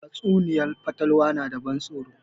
Tatsuniyar fatalwa na da ban tsoro